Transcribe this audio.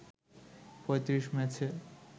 ৩৫ ম্যাচে